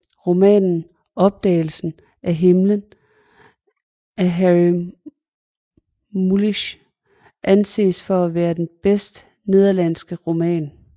Romanen Opdagelsen af himlen af Harry Mulisch anses for at være den bedste nederlandske roman